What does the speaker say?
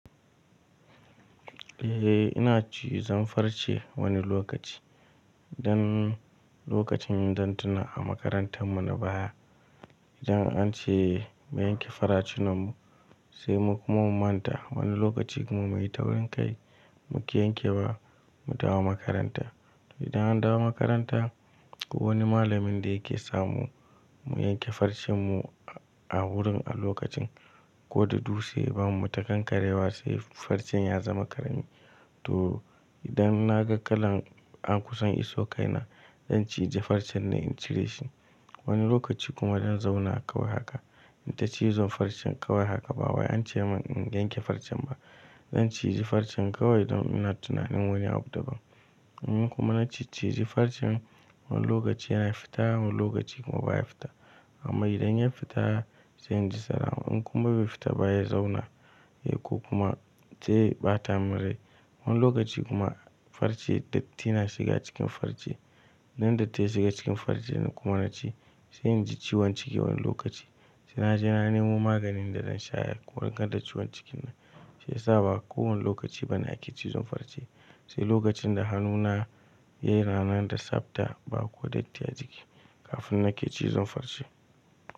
Eh ina cizan farce wani lokaci. Dan lokacin dan tuna a makarantar mu na baya, idan an ce mu yanke faracinan mu sai mu kuma mu manta. Wani lokaci kuma mai taurinkai muƙi yanke wa mu dawo makaranta. To idan an dawo makaranta wani malamin da yake samu mu yanke farcen mu a wurin a lokacin ko da dutse ya bamu ta kankarewa sai farcen ya zama ƙarami. To idan na ga kalan an kusan iso kai na zan cije farcen ne in cire shi. Wani lokaci kuma dan zauna kawai haka in ta cizon farcen kawai haka ba wai an ce min in yanke farcen ba. Zan cije farcen kawai don ina tunanin wani abu daban. In kuma na ci cije farcen wani lokaci yana fita wani lokaci kuma baya fita. Amma idan ya fita sai in ji tsara. In kuma bai fita baya zauna, yako kuma sai ya ɓata min rai. Wani lokaci kuma farce datti na shiga cikin farce. Nan datti ya shiga cikin farce na kuma nace sai in ji ciwon ciki wani lokaci. Sai naje na nemo maganin da zan sha ya warkar da ciwon cikin nan. Shiyasa ba kowane lokaci bane ake cizon farce. Sai lokacin da hannu na yana nan da tsafta ba ko datti a ciki kafin nake cizon farce.